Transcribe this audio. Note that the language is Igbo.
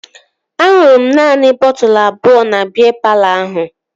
Aṅụrụ m naanị bọtụlu abụọ na biya palọ ahụ